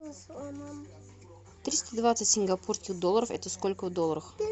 триста двадцать сингапурских долларов это сколько в долларах